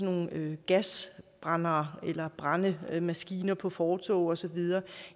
nogle gasbrændere eller brændemaskiner på fortove og så videre